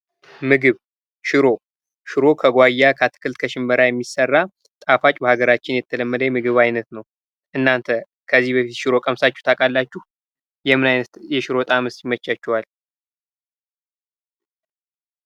ምግብ ሽሮ፡ሽሮ ከጓያ፣ ከአትክልት፣ ከሽምብራ የሚሰራ ጣፋጭ በሃገራችን የተለመደ የምግብ አይነት ነው። እናንተ ከዚህ በፊት ሽሮ ቀምሳችሁ ታውቃላችሁ? ይምን አይነት የሽሮ ጣእምስ ይመቻችኋል?